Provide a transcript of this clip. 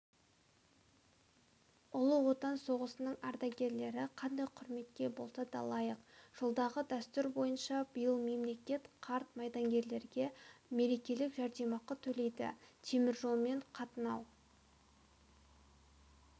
ұлы отан соғысының ардагерлері қандай құрметке болса да лайық жылдағы дәстүр бойынша биыл мемлекет қарт майденгерлерге мерекелік жәрдемақы төлейді теміржолмен қатынау